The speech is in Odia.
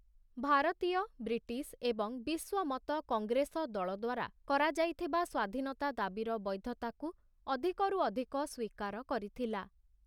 ଭାରତୀୟ, ବ୍ରିଟିଶ୍‌ ଏବଂ ବିଶ୍ୱ ମତ କଂଗ୍ରେସ ଦଳଦ୍ୱାରା କରାଯାଇଥିବା ସ୍ୱାଧୀନତା ଦାବିର ବୈଧତାକୁ ଅଧିକରୁ ଅଧିକ ସ୍ୱୀକାର କରିଥିଲା ।